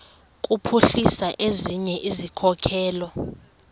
kuphuhlisa ezinye izikhokelo